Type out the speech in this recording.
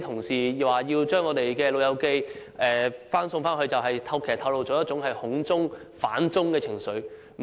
有議員在討論將長者送返內地時反映出一種"恐中"、"反中"的情緒。